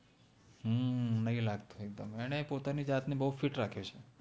હમ નૈ લાગ્તો એક્દમ એને પોતાનિ જાત ને બૌ fit રખ્ય઼ઓ છે